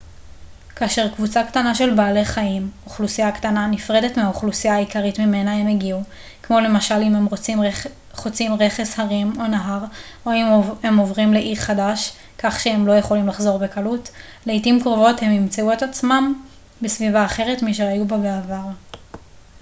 כאשר קבוצה קטנה של בעלי חיים אוכלוסייה קטנה נפרדת מהאוכלוסייה העיקרית ממנה הם הגיעו כמו למשל אם הם חוצים רכס הרים או נהר או אם הם עוברים לאי חדש כך שהם לא יכולים לחזור בקלות לעתים קרובות הם ימצאו עצמם בסביבה אחרת משהיו בה בעבר